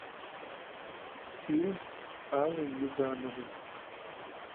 фильм с аллой югановой